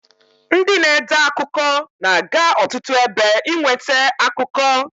Ndị na-ede akụkọ na-aga ọtụtụ ebe inwete akụkọ.